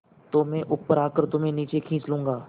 तो मैं ऊपर आकर तुम्हें नीचे खींच लूँगा